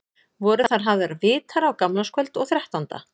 Voru þar hafðir vitar á gamlárskvöld og þrettánda.